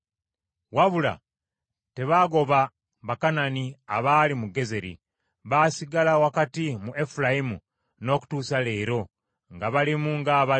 Wabula tebaagoba Bakanani abaali mu Gezeri, baasigala wakati mu Efulayimu n’okutuusa leero nga balimu ng’abaddu nga bakola.